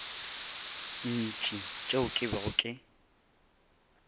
ntši tšeo ke bego ke